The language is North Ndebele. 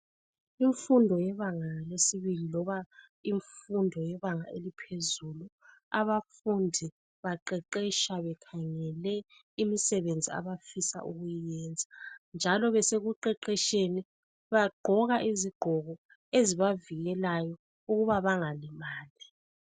Kumfundo yebanga lesibili, loba kumfundo yebanga eliphezulu abafundi baqeqetsha bekhangele imisebenzi abafisa ukuyenza, njalo besekuqeqetsheni bagqoka izigqoko ezibavikelayo ukuba bangalimali.